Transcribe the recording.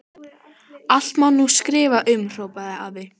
Allt má nú skrifa um, hrópaði afi.